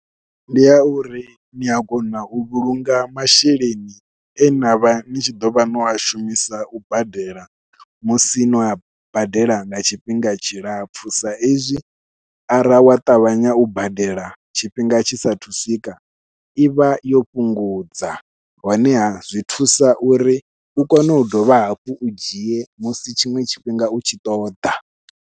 Ndi ya uri nia kona u vhulunga masheleni e navha ni tshi ḓovha no a shumisa u badela musi no a badela nga tshifhinga tshilapfhu sa izwi arali wa ṱavhanya u badela tshifhinga tshisa thu swika i vha yo fhungudza, honeha zwi thusa uri u kone u dovha hafhu u dzhie musi tshiṅwe tshifhinga u tshi ṱoḓa.